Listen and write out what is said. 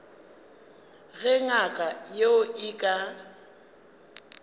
ge ngaka yeo e ka